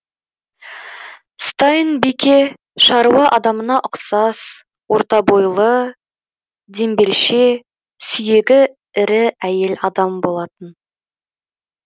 стайн бике шаруа адамына ұқсас орта бойлы дембелше сүйегі ірі әйел болатын